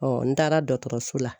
n taara dɔkɔtɔrɔso la